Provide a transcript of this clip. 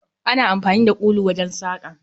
Ana amfani da kulu wajen saƙa